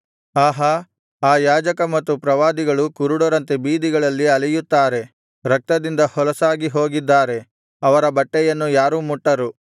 ಆಹಾ ಆ ಯಾಜಕ ಮತ್ತು ಪ್ರವಾದಿಗಳು ಕುರುಡರಂತೆ ಬೀದಿಗಳಲ್ಲಿ ಅಲೆಯುತ್ತಾರೆ ರಕ್ತದಿಂದ ಹೊಲಸಾಗಿ ಹೋಗಿದ್ದಾರೆ ಅವರ ಬಟ್ಟೆಯನ್ನು ಯಾರೂ ಮುಟ್ಟರು